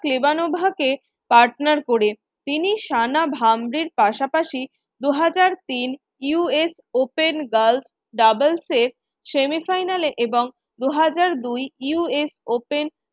কে partner করে। তিনি পাশাপাশি দু হাজার তিন US Open girls doubles র semi final এ এবং দু হাজার দুই USopen